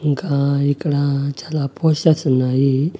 ఇంకా ఇక్కడ చాలా పోస్టర్స్ ఉన్నాయి.